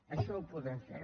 això ho podem fer